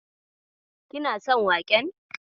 Kina son waƙen?